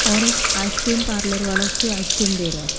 औरआइसक्रीम parlour वाला उसके ice cream दे रहा है।